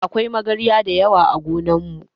Akwai magarya dayawa ã gonan mu.